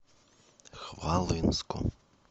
хвалынску